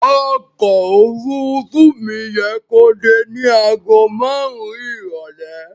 Ọkọ̀ òfuurufú mi yẹ kó dé ní àgó márùn-ún ìrọ̀lẹ́.